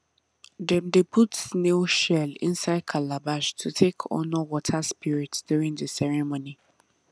dem dey put snail shell inside calabash to take honour water spirit during the ceremony